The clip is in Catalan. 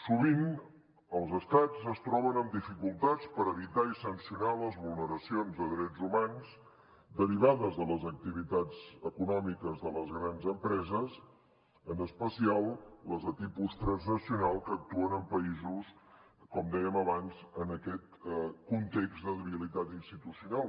sovint els estats es troben amb dificultats per evitar i sancionar les vulneracions de drets humans derivades de les activitats econòmiques de les grans empreses en especial les de tipus transnacional que actuen en països com dèiem abans en aquest context de debilitat institucional